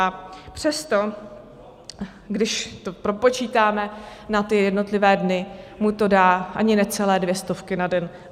A přesto, když to propočítáme na jednotlivé dny, mu to dá ani ne celé dvě stovky na den.